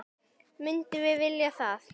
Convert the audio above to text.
Myndum við vilja það?